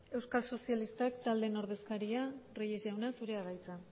euskal sozialistak taldeen ordezkaria reyes jauna zurea da hitza